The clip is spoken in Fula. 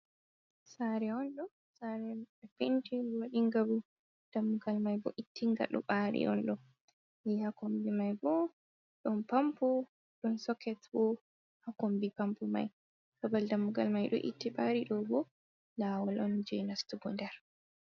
Sare on ɗo sare penti waɗinga bu dammugal mai bo ittinga ɗo dari on ɗo ya ha kombi mai bo ɗon pampo, ɗon soket bo ha kombi pampo mai babal dammugal mai ɗo itti ɓari ɗo bo lawol on je nastugo nder.